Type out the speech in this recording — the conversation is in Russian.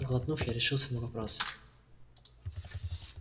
сглотнув я решился на вопрос